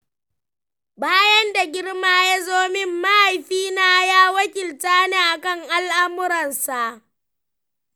Bayan da girma ya zo min, mahaifina ya wakilta ni akan al'amuransa.